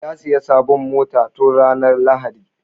Ya sayi sabon mota tun ranar lahadi